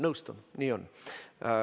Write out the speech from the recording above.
Nõustun, nii on.